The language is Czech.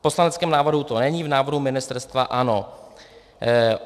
V poslaneckém návrhu to není, v návrhu ministerstva ano.